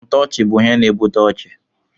Ntoochi bụ ihe na ebute ọchị.